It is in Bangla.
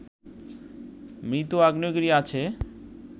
মৃত আগ্নেয়গিরি আছে